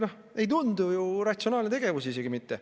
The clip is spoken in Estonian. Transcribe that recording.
See ei tundu ju ratsionaalne tegevus isegi mitte.